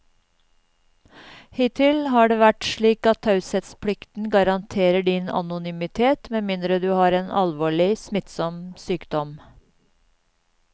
Hittil har det vært slik at taushetsplikten garanterer din anonymitet med mindre du har en alvorlig, smittsom sykdom.